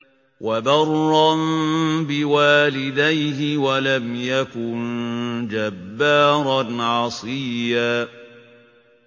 وَبَرًّا بِوَالِدَيْهِ وَلَمْ يَكُن جَبَّارًا عَصِيًّا